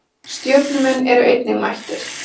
Stjörnumenn eru einnig mættir.